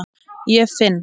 Ég finn